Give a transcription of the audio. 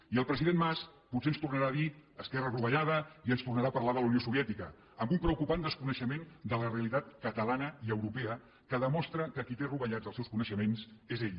i el president mas potser ens tornarà a dir esquerra rovellada i ens tornarà a parlar de la unió soviètica amb un preocupant desconeixement de la realitat catalana i europea que demostra que qui té rovellats els seus coneixements és ell